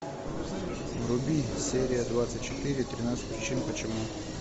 вруби серия двадцать четыре тринадцать причин почему